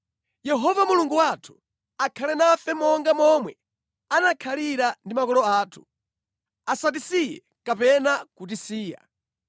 Yehova Mulungu wathu akhale nafe monga momwe anakhalira ndi makolo athu; asatisiye kapena kutitaya.